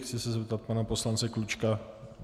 Chci se zeptat pana poslance Klučky...